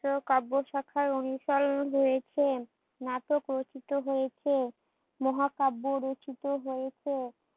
কাব্য শাখায় অনুসরণ হয়েছে, নাটক রচিত হয়েছে, মহাকাব্যর রচিত হয়েছে,